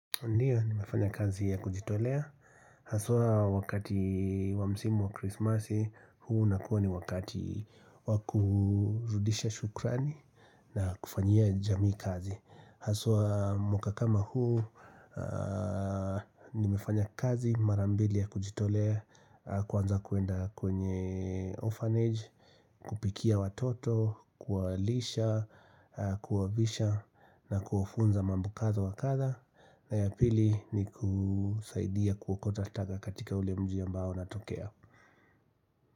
Ndiyo, nimefanya kazi ya kujitolea Haswa wakati wa msimu wa krismasi huu unakuwa ni wakati wa kurudisha shukrani na kufanyia jamii kazi Haswa mwaka kama huu nimefanya kazi mara mbili ya kujitolea Kwanza kuenda kwenye orphanage kupikia watoto, kuwalisha, kuwavisha na kuwafunza mambo kadha wa kadhaa na ya pili nikusaidia kuokota taka katika ule mji ambao natokea.